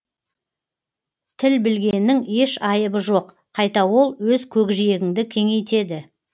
тіл білгеннің еш айыбы жоқ қайта ол өз көкжиегіңді кеңейтеді